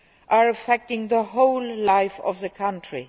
are affecting the whole life of the country.